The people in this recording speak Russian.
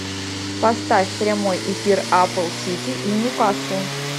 поставь прямой эфир апл сити и ньюкасл